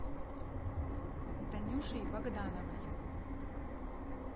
танюшей богдановой